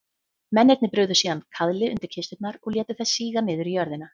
Mennirnir brugðu síðan kaðli undir kisturnar og létu þær síga niður í jörðina.